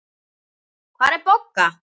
Hvar er Bogga?